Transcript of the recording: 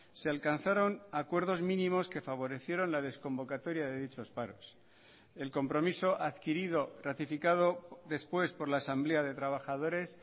se alcanzaron acuerdos mínimos que favorecieron la desconvocatoria de dichos paros el compromiso adquirido ratificado después por la asamblea de trabajadores